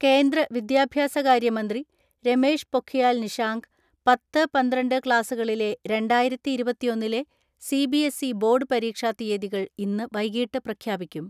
കേന്ദ്ര വിദ്യാഭ്യാസകാര്യമന്ത്രി രമേഷ് പൊഖിയാൽ നിഷാങ്ക് പത്ത്, പന്ത്രണ്ട് ക്ലാസുകളിലെ രണ്ടായിരത്തിഇരുപത്തിഒന്നിലെ സിബിഎസ്ഇ ബോർഡ് പരീക്ഷാ തീയതികൾ ഇന്ന് വൈകിട്ട് പ്രഖ്യാപിക്കും.